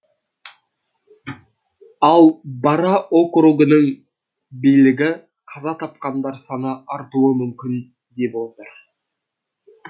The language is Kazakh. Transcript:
ал бара округының билігі қаза тапқандар саны артуы мүмкін деп отыр